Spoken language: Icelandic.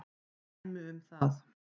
Dæmi um það